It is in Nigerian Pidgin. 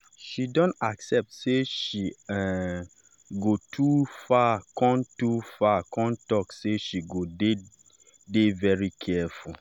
she don accept sey she um go too far kon too far kon talk sey she go dey-dey very careful.